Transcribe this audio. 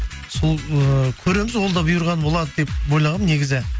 сол ыыы көреміз ол да бұйырғаны болады деп ойлағанмын негізі